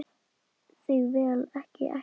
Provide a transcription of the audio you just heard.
Þig vil ég ekki missa.